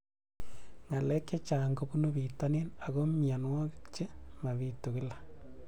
Ng'alek chechang' kopunu pitonin ako mianwogik che mapitu kila